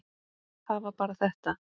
Það var bara þetta.